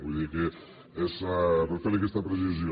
vull dir que és per fer li aquesta precisió